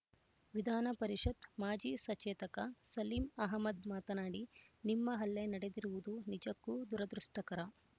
ವಿಧಾನಪರಿಷತ್ ಮಾಜಿ ಸಚೇತಕ ಸಲೀಂ ಅಹ್ಮದ್ ಮಾತನಾಡಿ ನಿಮ್ಮ ಹಲ್ಲೆ ನಡೆದಿರುವುದು ನಿಜಕ್ಕೂ ದುರದೃಷ್ಟಕರ